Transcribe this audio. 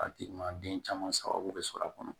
A tigi ma den caman sababu bɛ sɔrɔ a kɔnɔ